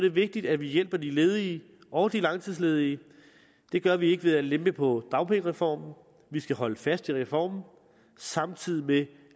er vigtigt at vi hjælper de ledige og de langtidsledige det gør vi ikke ved at lempe på dagpengereformen vi skal holde fast i reformen samtidig med